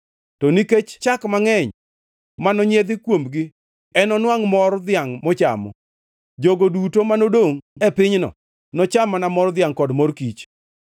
To nikech chak mangʼeny manonyiedh kuomgi enonwangʼ mor dhiangʼ mochamo. Jogo duto manodongʼ e pinyno nocham mana mor dhiangʼ kod mor kich.